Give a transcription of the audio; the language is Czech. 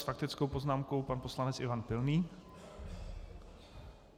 S faktickou poznámkou pan poslanec Ivan Pilný.